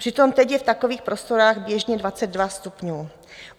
Přitom teď je v takových prostorách běžně 22 stupňů.